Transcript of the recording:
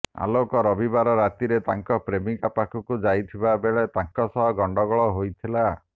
ଆଲୋକ ରବିବାର ରାତ୍ରିରେ ତାଙ୍କ ପ୍ରେମିକା ପାଖକୁ ଯାଇଥିବା ବେଳେ ତାଙ୍କ ସହ ଗଣ୍ଡଗୋଳ ହୋଇଥିଲା